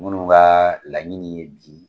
Munnu ga laɲini ye di